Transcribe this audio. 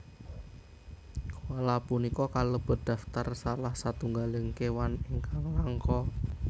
Koala punika kalebet daftar salah setunggaling kéwan ingkang langka